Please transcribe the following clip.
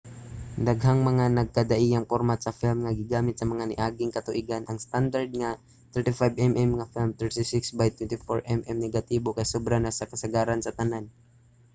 daghang mga nagkadaiyang pormat sa film nga gigamit sa mga niaging katuigan. ang standard nga 35mm nga film 36 by 24mm negatibo kay sobra na sa kasagaran sa tanan